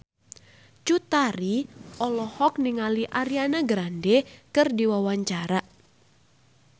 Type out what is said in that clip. Cut Tari olohok ningali Ariana Grande keur diwawancara